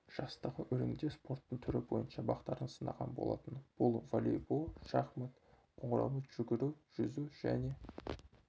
жастағы өрендер спорттың түрі бойынша бақтарын сынаған болатын бұл волейбол шахмат қоңыраумен жүгіру жүзу және